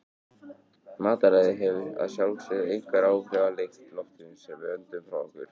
Mataræði hefur að sjálfsögðu einhver áhrif á lykt loftsins sem við öndum frá okkur.